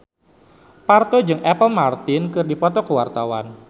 Parto jeung Apple Martin keur dipoto ku wartawan